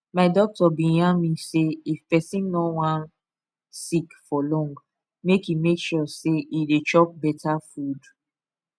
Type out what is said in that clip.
my doctor been yarn me say if person no wan sick for long make e make sure say e dey chop better food